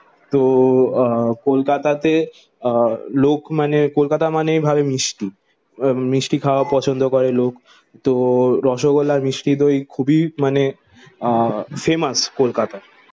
তো আহ কলকাতাতে আহ লোক মানে কলকাতা মানে ভাবে মিষ্টি। মিষ্টি খাওয়া পছন্দ করে লোক। তো রসগোল্লার আর মিষ্টি দই খুবই মানে আহ ফেমাস কলকাতায়।